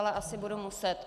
Ale asi budu muset.